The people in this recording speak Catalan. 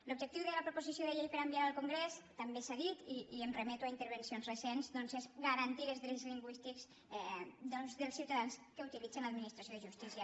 l’objectiu de la proposició de llei per a enviar al con·grés també s’ha dit i em remeto a intervencions re·cents doncs és garantir els drets lingüístics dels ciu·tadans que utilitzen l’administració de justícia